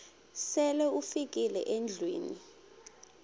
sele ufikile endlwini